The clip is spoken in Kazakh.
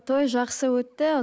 той жақсы өтті